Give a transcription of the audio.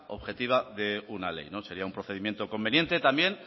objetiva de una ley sería un procedimiento conveniente también